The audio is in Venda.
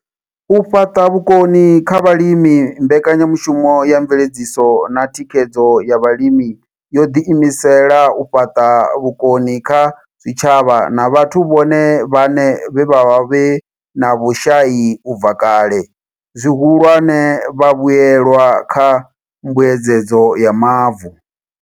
U fhaṱa vhukoni kha vhalimi Mbekanya mushumo ya Mveledziso na Thikhedzo ya Vhalimi yo ḓiimisela u fhaṱa vhukoni kha zwitshavha na vhathu vhone vhaṋe vhe vha vha vhe na vhushai u bva kale, zwihulwane, vhavhuelwa kha Mbuedzedzo ya Mavu.